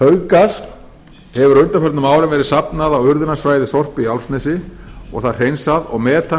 hauggasi hefur á undanförnum árum verið safnað á urðunarsvæði sorpu í álfsnesi og það hreinsað og metan